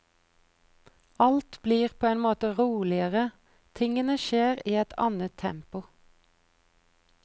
Alt blir på en måte roligere, tingene skjer i et annet tempo.